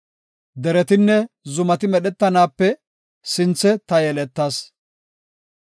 Deretinne zumati medhetanaape sinthe ta yeletas.